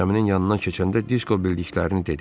Gəminin yanından keçəndə Disko bildiklərini dedi.